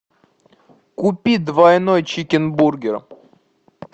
купи двойной чикенбургер